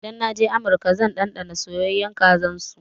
Idan na je amurka zan ɗanɗana soyayyan kazan su.